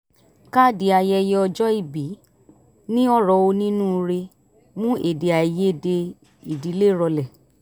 káàdì ayẹyẹ ọjọ́ ìbí ní ọ̀rọ̀ onínúure mú èdè-àì-yedè ìdílé rọlẹ̀